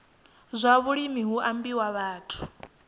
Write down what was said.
zwa vhulimi hu ambiwa vhathu